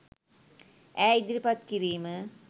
ඈ ඉදිරිපත් කිරීම